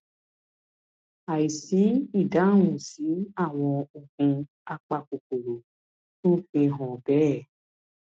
àìsí ìdáhùn sí àwọn oògùn apakòkòrò tún fi hàn bẹẹ